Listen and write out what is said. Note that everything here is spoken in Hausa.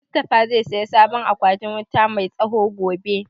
Mustafa zai saya sabon akwatin wuta mai tsawo gobe